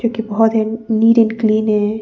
NEET and clean है।